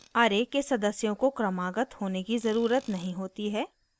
* array के सदस्यों को क्रमागत होने की ज़रुरत नहीं होती है